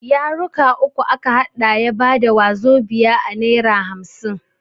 Yaruka uku a ka haɗa ya bada wazobia a nera hamsin.